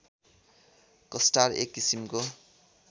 कस्टार एक किसिमको